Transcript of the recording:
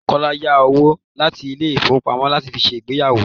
Kọ́lá yá owó láti ilé ifowopamo fi ṣe ìgbéyàwó.